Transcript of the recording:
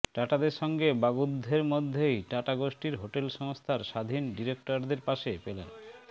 টাটাদের সঙ্গে বাগ্যুদ্ধের মধ্যেই টাটা গোষ্ঠীর হোটেল সংস্থার স্বাধীন ডিরেক্টরদের পাশে পেলেন